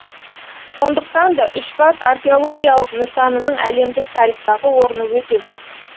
сондықтан да үшбас археологиялық нысанының әлемдік тарихтағы орны өте зор